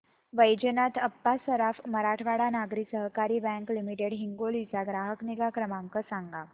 Vaijnath Appa Saraf Marathwada Nagari Sahakari bank limited Hingoli चा ग्राहक निगा क्रमांक सांगा